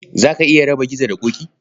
Za ka iya raba Gizo da Ƙoƙi?